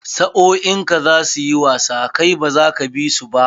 Sa'o'in ka za su yi wasa kai baza ka bi su ba?